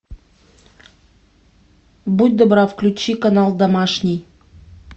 будь добра включи канал домашний